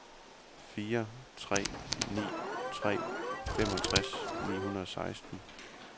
fire tre ni tre femogtres ni hundrede og seksten